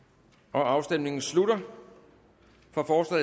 afstemningen slutter for